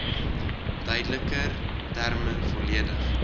duideliker terme volledig